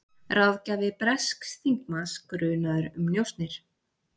Ráðgjafi bresks þingmanns grunaður um njósnir